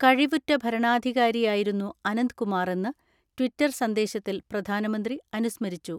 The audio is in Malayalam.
കഴിവുറ്റ ഭരണാധികാരിയായിരുന്നു അനന്ത്കുമാറെന്ന് ട്വിറ്റർ സന്ദേശത്തിൽ പ്രധാനമന്ത്രി അനുസ്മരിച്ചു.